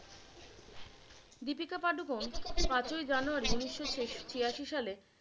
দীপিকা পাডুকোন পাঁচ ওই জানুয়ারী উনিশশো ছিয়াশি সালে